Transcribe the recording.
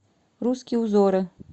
русские узоры